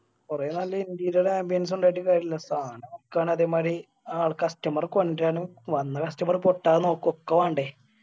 കൊറേ നല്ല interior ambience ഉ ഉണ്ടായിട്ട് കാര്യല്ല സാനം വിക്കാൻ അതേമാതിരി ആൾ customer റെ കൊണ്ടുവരാനും വന്ന customer റെ പൊട്ടാതെ നോക്ക ഒക്കെ വേണ്ടേ